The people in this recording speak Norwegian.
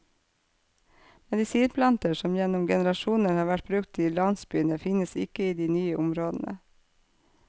Medisinplanter som gjennom generasjoner har vært brukt i landsbyene finnes ikke i de nye områdene.